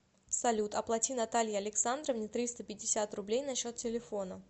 салют оплати наталье александровне триста пятьдесят рублей на счет телефона